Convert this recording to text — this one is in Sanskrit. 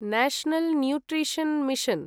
national nutrition mission